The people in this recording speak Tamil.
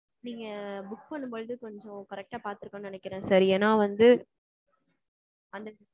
நீங்க book பண்ணும்போது கொஞ்சம் correct டா பாத்துருக்கணும்னு நினைக்கிறேன் sir. ஏன்னா வந்து